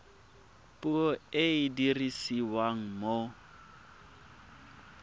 puo e e dirisiwang mo